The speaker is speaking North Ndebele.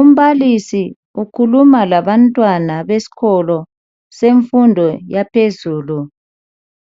Umbalisi ukhuluma labantwana besikolo semfundo yaphezulu